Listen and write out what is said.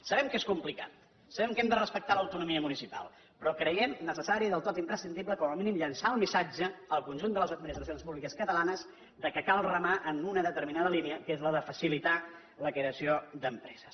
sabem que és complicat sabem que hem de respectar l’autonomia municipal però creiem necessari i del tot imprescindible com a mínim llançar el missatge al conjunt de les administracions públiques catalanes que cal remar en una determinada línia que és la de facilitar la creació d’empreses